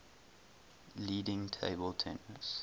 leading table tennis